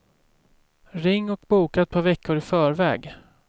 Ring och boka ett par veckor i förväg.